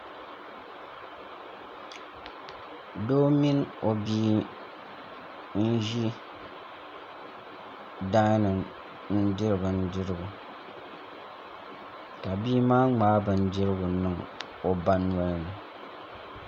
Doo mini o bia n ʒi daani n diri bindirigu ka bia maa ŋmaai bindirigu niŋ o ba nolini